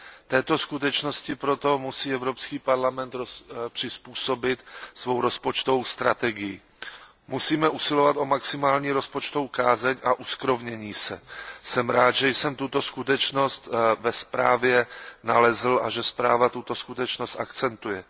Této skutečnosti proto musí Evropský parlament přizpůsobit svou rozpočtovou strategii. Musíme usilovat o maximální rozpočtovou kázeň a uskrovnění se. Jsem rád, že jsem tuto skutečnost ve zprávě nalezl a že zpráva tuto skutečnost akcentuje.